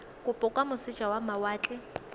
kopo kwa moseja wa mawatle